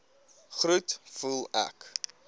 groet voel ek